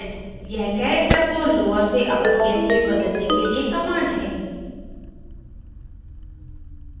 यह characters को lower से upper case में बदलने के लिए command है